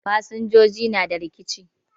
Fasinjoji na da rikici